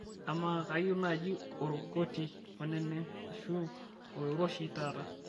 amaa kayieu naaji orkoti oneneng' ashu oloiroshi taata